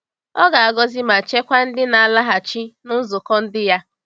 Ọ ga-agọzi ma chekwaa ndị na-alaghachi na nzukọ ndi ya.